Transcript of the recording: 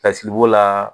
Kasili b'o la